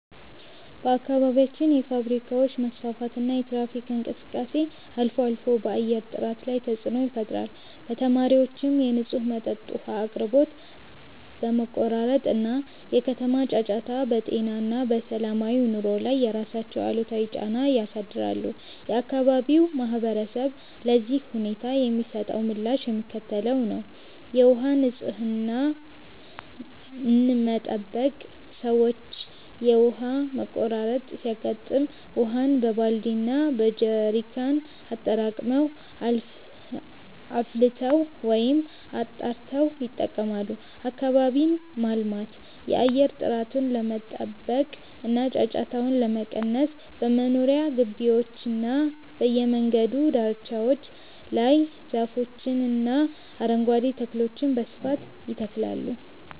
በአካባቢያችን የፋብሪካዎች መስፋፋትና የትራፊክ እንቅስቃሴ አልፎ አልፎ በአየር ጥራት ላይ ተፅዕኖ ይፈጥራል። በተጨማሪም የንጹህ መጠጥ ውሃ አቅርቦት መቆራረጥ እና የከተማ ጫጫታ በጤና እና በሰላማዊ ኑሮ ላይ የራሳቸውን አሉታዊ ጫና ያሳድራሉ። የአካባቢው ማህበረሰብ ለዚህ ሁኔታ የሚሰጠው ምላሽ የሚከተለው ነው፦ የውሃ ንፅህናን መጠበቅ፦ ሰዎች የውሃ መቆራረጥ ሲያጋጥም ውሃን በባልዲ እና በጀሪካን አጠራቅመው፣ አፍልተው ወይም አጣርተው ይጠቀማሉ። አካባቢን ማልማት፦ የአየር ጥራቱን ለመጠበቅ እና ጫጫታውን ለመቀነስ በመኖሪያ ግቢዎችና በየመንገዱ ዳርቻዎች ላይ ዛፎችንና አረንጓዴ ተክሎችን በስፋት ይተክላሉ።